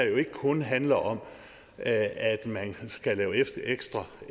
jo ikke kun handler om at man skal lave ekstra